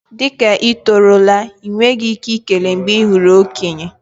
Dị ka ị tọrọ la, enweghị ike ikele mgbe ị hụrụ okenye.